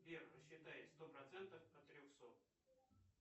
сбер посчитай сто процентов от трехсот